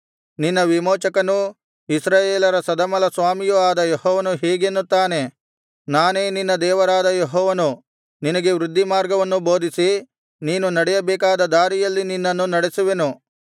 ನಿನ್ನ ವಿಮೋಚಕನೂ ಇಸ್ರಾಯೇಲರ ಸದಮಲಸ್ವಾಮಿಯೂ ಆದ ಯೆಹೋವನು ಹೀಗೆನ್ನುತ್ತಾನೆ ನಾನೇ ನಿನ್ನ ದೇವರಾದ ಯೆಹೋವನು ನಿನಗೆ ವೃದ್ಧಿಮಾರ್ಗವನ್ನು ಬೋಧಿಸಿ ನೀನು ನಡೆಯಬೇಕಾದ ದಾರಿಯಲ್ಲಿ ನಿನ್ನನ್ನು ನಡೆಸುವೆನು